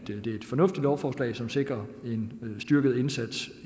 fornuftigt lovforslag som sikrer en styrket indsats